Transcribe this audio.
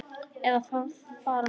Eða fara með ljóð.